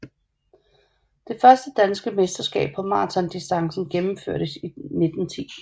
Det første danske mesterskab på maratondistancen gennemførtes 1910